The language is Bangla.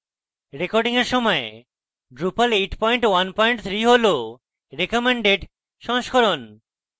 recording at সময় drupal 813 হল recommended সংস্করণ